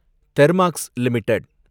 Thermax limited